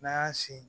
N'an y'an sinsin